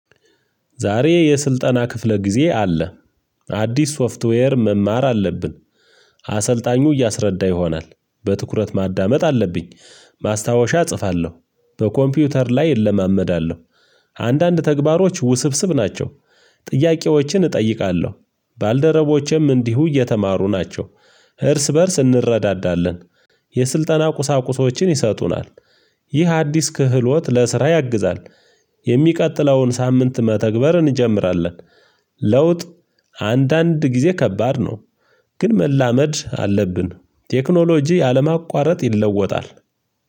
ዛሬ የስልጠና ክፍለ ጊዜ አለ አዲስ ሶፍትዌር መማር አለብን። አሰልጣኙ እያሰረዳ ይሆናል በትኩረት ማዳመጥ አለብኝ ማስታወሻ እጽፋለሁ በኮምፒውተር ላይ እለማመዳለሁ። አንዳንድ ተግባሮች ውስብስብ ናቸው። ጥያቄዎችን እጠይቃለሁ ባልደረቦቼም እንዲሁ እየተማሩ ናቸው። እርስ በእርስ እንረዳዳለን። የስልጠና ቁሳቁሶችን ይሰጡናል። ይህ አዲስ ክህሎት ለስራ ያግዛል። የሚቀጥለውን ሳምንት መተግበር እንጀምራለን። ለውጥ አንዳንድ ጊዜ ከባድ ነው። ግን መላመድ አለብን ቴክኖሎጂ አለማቋረጥ ይለወጣል።